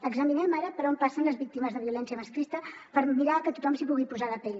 examinem ara per on passen les víctimes de violència masclista per mirar que tothom s’hi pugui posar a la pell